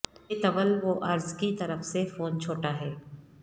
اس کے طول و عرض کی طرف سے فون چھوٹا ہے